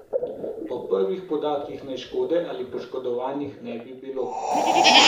Po prvih podatkih naj škode ali poškodovanih ne bi bilo.